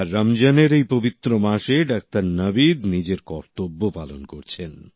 আর রমজানের এই পবিত্র মাসে ডাক্তার নাবিদ নিজের কর্তব্য পালন করছেন